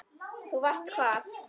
Þú varst hvar?